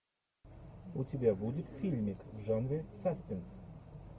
у тебя будет фильмик в жанре саспенс